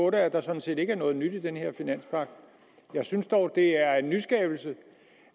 at der sådan set ikke er noget nyt i den her finanspagt jeg synes dog at det er en nyskabelse